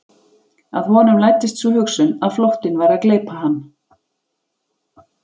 Að honum læddist sú hugsun að flóttinn væri að gleypa hann.